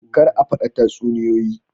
Kar a fada tatsuniyoyi